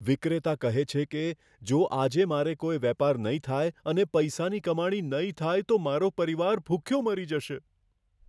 વિક્રેતા કહે છે કે, જો આજે મારે કોઈ વેપાર નહીં થાય અને પૈસાની કમાણી નહીં થાય, તો મારો પરિવાર ભૂખ્યો મરી જશે.